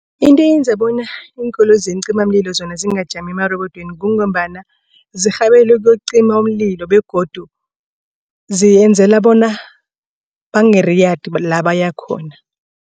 Into eyenza bona iinkoloyi zeencimamlilo zona zingajami emarebodweni kungombana zirhabele ukuyocima umlilo begodu ziyenzela bona bangariyadi la bayakhona.